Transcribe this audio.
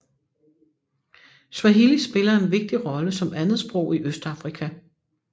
Swahili spiller en vigtig rolle som andetsprog i Østafrika